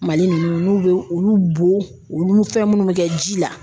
Mali ninnu n'u bɛ olu bo, olu fɛn minnu bɛ kɛ ji la